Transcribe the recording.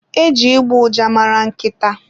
Eji ịgbọ ụja mara nkịta.